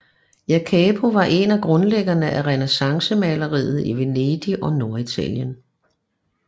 Jacopo var en af grundlæggerne af renæssancemaleriet i Venedig og Norditalien